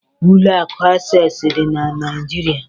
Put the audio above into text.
Ụlọ akụ Akses dị na Naịjirịa.